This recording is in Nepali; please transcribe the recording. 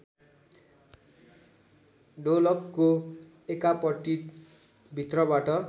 ढोलकको एकापट्टि भित्रबाट